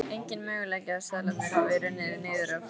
Enginn möguleiki að seðlarnir hafi runnið niður í fóðrið.